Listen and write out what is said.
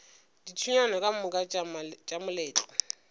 dithulaganyo ka moka tša moletlo